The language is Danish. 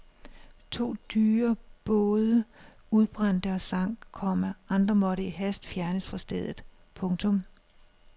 To dyre både udbrændte og sank, komma andre måtte i hast fjernes fra stedet. punktum